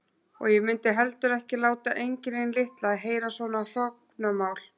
Og ég mundi heldur ekki láta engilinn litla heyra svona hrognamál.